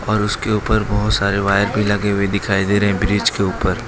और उसके ऊपर बहोत सारे वायर भी लगे हुए दिखाई दे रहे हैं ब्रिज के ऊपर।